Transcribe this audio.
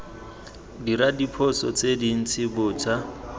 dira diphoso tse dintsi bontsha